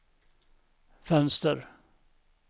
fönster